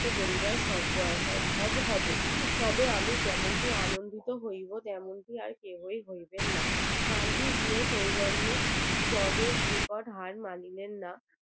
মুক্ত করিবার সম্ভব হবে তবে আমি যেমন আনন্দ হইবো তেমনটি আর কেহই হইবে না গান্ধীজীর সৌজন্যে judge হার মানবেন না